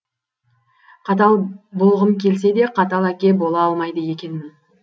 қатал болғым келсе де қатал әке бола алмайды екенмін